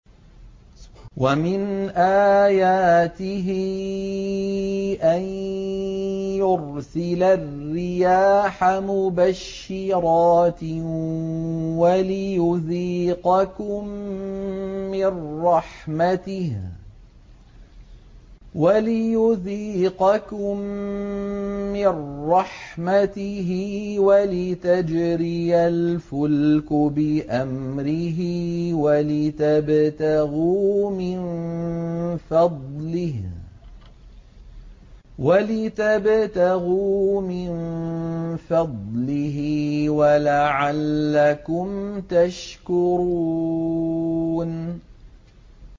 وَمِنْ آيَاتِهِ أَن يُرْسِلَ الرِّيَاحَ مُبَشِّرَاتٍ وَلِيُذِيقَكُم مِّن رَّحْمَتِهِ وَلِتَجْرِيَ الْفُلْكُ بِأَمْرِهِ وَلِتَبْتَغُوا مِن فَضْلِهِ وَلَعَلَّكُمْ تَشْكُرُونَ